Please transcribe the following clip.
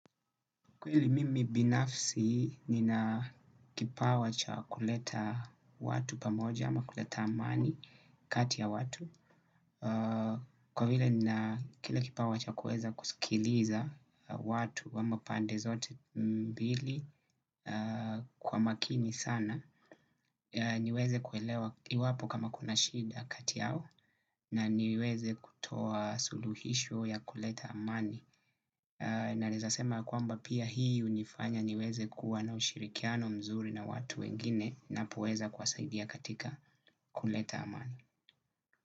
Kwa hili mimi binafsi nina kipawa cha kuleta watu pamoja ama kuleta amani kati ya watu. Kwa vile nina kile kipawa cha kuweza kusikiliza watu ama upande zote mbili kwa makini sana, niweze kuelewa iwapo kama kuna shida kati yao na niweze kutoa suluhisho ya kuleta amani. Na naezasema kuamba pia hii unifanya niweze kuwa na ushirikiano mzuri na watu wengine napoweza kuwasaidia katika kuleta amani.